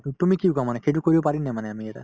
to তুমি কি কোৱা মানে সেইটো কৰিব পাৰি নে মানে আমি এটা